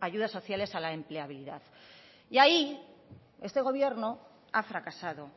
ayudas sociales a la empleabilidad y ahí este gobierno ha fracasado